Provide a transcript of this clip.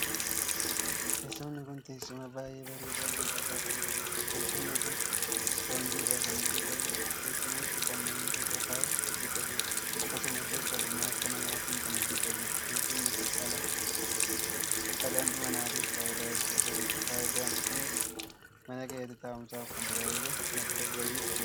Teessumni kun teessuma baay'ee bareedaaf miidhagaa kan taheedha. teessumni kun ispoonjii irraa kan hojjetamuudha. teessumichi kan namni irra taa'uuf hojjetameedha. akkasumallee ogummaa harkaa namaatiin kan hojjetameedha. teessumni kun dhala manaatiif faayidaa hedduu qaba. faayidaan kunis mana keessatti taa'umsaaf kan tajaajiludha. madda galfiif ni oola.